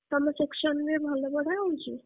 ତମ section ରେ ଭଲ ପଢାହଉଁଛି?